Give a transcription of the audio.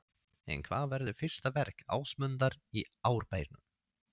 En hvað verður fyrsta verk Ásmundar í Árbænum?